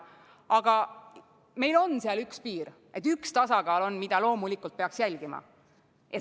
Aga meil on seal üks piir, üks tasakaal, mida loomulikult peaks jälgima.